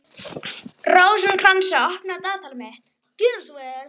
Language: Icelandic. Rósinkransa, opnaðu dagatalið mitt.